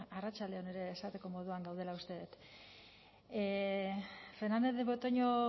arratsalde on ere esateko moduan gaudela uste dut fernandez de betoño